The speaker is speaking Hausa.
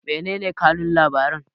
menene kanun labaran